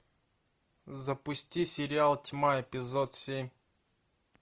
запусти сериал тьма эпизод семь